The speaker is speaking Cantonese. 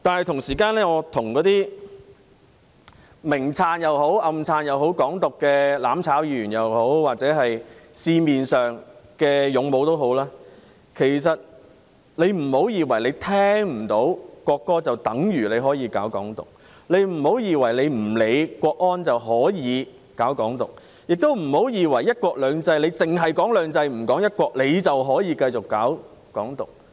同時，我想跟或明或暗支持"港獨"的"攬炒"議員或社會上的"勇武"說，別以為聽不到國歌，便等於可以搞"港獨"，別以為不理會港區國安法，便可以搞"港獨"，亦不要以為在"一國兩制"下，只談"兩制"不談"一國"，便可以繼續搞"港獨"。